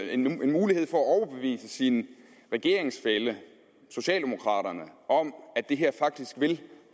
en mulighed for at overbevise sin regeringsfælle socialdemokraterne om at det her faktisk vil